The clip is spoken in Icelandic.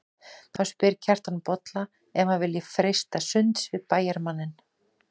Þá spyr Kjartan Bolla ef hann vilji freista sunds við bæjarmanninn.